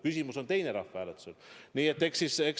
Küsimus rahvahääletusel on teine.